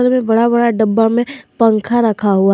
बड़ा बड़ा डब्बा में पंखा रखा हुआ है।